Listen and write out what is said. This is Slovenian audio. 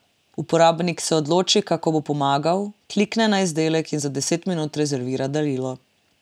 Uporabnik se odloči, kako bo pomagal, klikne na izdelek in za deset minut rezervira darilo.